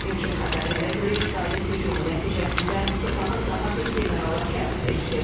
İlkin xəbərlərə görə İsrailin hücumu nəticəsində Sepahın daha bir generalı həyatını itirib.